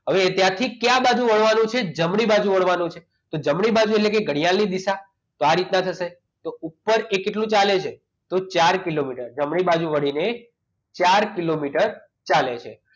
હવે ત્યાં ક્યાંથી ક્યાં બાજુ વળવાનું છે જમણી બાજુ વળવાનું છે તો જમણી બાજુ એટલે કે ઘડિયાળ ની દિશા તો આ રીતના થશે તો ઉપર એ કેટલું ચાલે છે તો ચાર કિલોમીટર જમણી બાજુ વળીને ચાર કિલોમીટર ચાલે છે